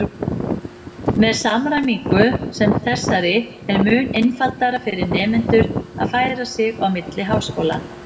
Með samræmingu sem þessari er mun einfaldara fyrir nemendur að færa sig á milli háskóla.